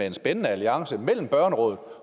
en spændende alliance mellem børnerådet